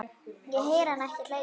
Ég heyri hana ekki hlæja